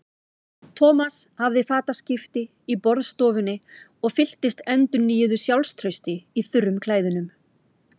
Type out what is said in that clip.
Thomas hafði fataskipti í borðstofunni og fylltist endurnýjuðu sjálfstrausti í þurrum klæðunum.